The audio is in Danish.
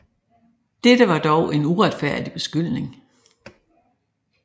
Dette var dog en uretfærdig beskyldning